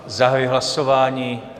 Zahajuji hlasování.